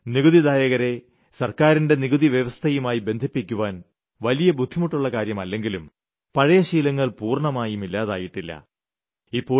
ഇന്ന് നികുതിദായകരെ സർക്കാരിന്റെ നികുതിവ്യവസ്ഥയുമായി ബന്ധിപ്പിക്കാൻ വലിയ ബുദ്ധിമുട്ടുള്ളകാര്യമല്ലെങ്കിലും പഴയ ശീലങ്ങൾ പൂർണമായി ഇല്ലാതായിട്ടില്ല